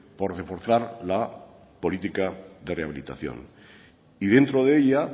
por reforzar la política de rehabilitación y dentro de ella